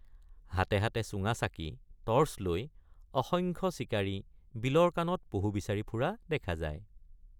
হাতে হাতে চুঙাচাকি টৰ্চ লৈ অসংখ্য চিকাৰী বিলৰ কানত পহু বিচাৰি ফুৰা দেখা যায়।